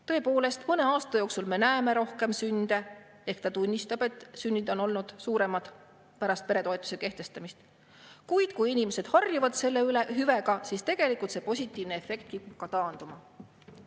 Tõepoolest, mõne aasta jooksul me näeme rohkem sünde , kuid kui inimesed harjuvad selle hüvega, siis tegelikult see positiivne efekt kipub ka taanduma.